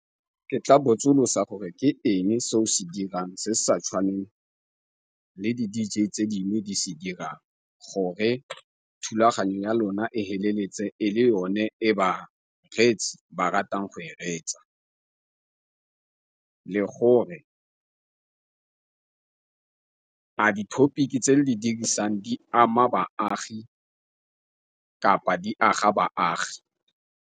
Ke tla botsolosa gore ke eng se o se dirang se sa tshwaneng le di-D_J tse dingwe di se dira gore thulaganyo ya lona e feleletse e le yone e bareetsi ba ratang go e reetsa le gore a di-topic tse le di dirisang di ama baagi kapa di aga baagi.